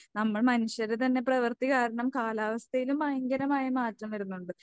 നമ്മൾ മനുഷ്യരുടെ തന്നെ പ്രവർത്തി കാരണം കാലാവസ്ഥയിലും ഭയങ്കരമായ മാറ്റം വരുന്നുണ്ട്.